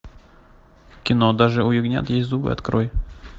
кино даже у ягнят есть зубы открой